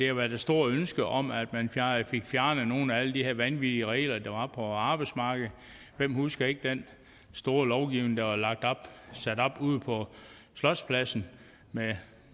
har været et stort ønske om at man fik fjernet nogle af alle de her vanvittige regler der var på arbejdsmarkedet hvem husker ikke den store lovgivning der var sat op ude på slotspladsen med